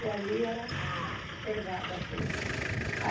E ali era pegada a coisa.